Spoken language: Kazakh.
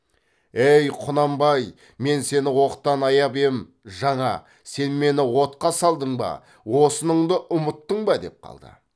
әй құнанбай мен сені оқтан аяп ем жаңа сен мені отқа салдың ба осыныңды ұмыттыңба деп қалды